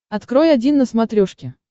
открой один на смотрешке